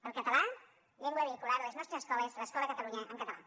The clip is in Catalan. el català llengua vehicular a les nostres escoles l’escola a catalunya en català